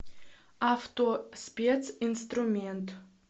автоспец инструмент